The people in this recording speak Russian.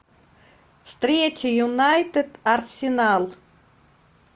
встреча юнайтед арсенал